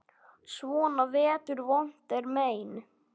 Svona vetur vont er mein.